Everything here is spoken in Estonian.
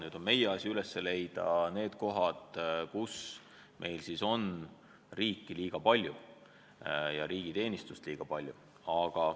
Nüüd on meie asi üles leida kohad, kus meil on riiki liiga palju ja riigiteenistust liiga palju.